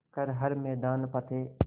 कर हर मैदान फ़तेह